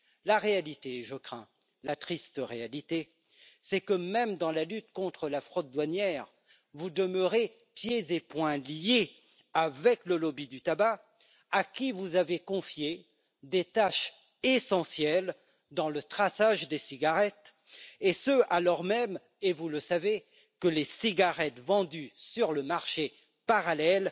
La réalité, la triste réalité, je le crains, c'est que, même dans la lutte contre la fraude douanière, vous demeurez pieds et poings liés avec le lobby du tabac, à qui vous avez confié des tâches essentielles dans le traçage des cigarettes et ce, alors même et vous le savez que les cigarettes vendues sur le marché parallèle